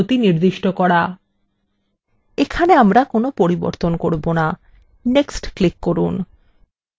এখানে আমরা কোনো পরিবর্তন করবো না next click করুন